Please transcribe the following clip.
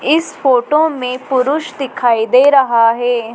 इस फोटो में पुरुष दिखाई दे रहा है।